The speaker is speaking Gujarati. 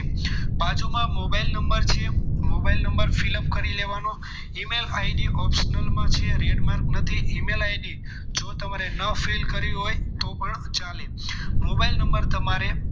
બાજુમાં mobile number છે mobile number fill up કરી લેવાનો ઇ-મેલ આઇડી optional માં છે red mark નથી ઇમેલ આઇડી જો તમારે ન fill કરવી હોય તો પણ ચાલે મોબાઈલ નંબર તમારે